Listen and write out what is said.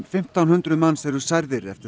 fimmtán hundruð manns eru særðir eftir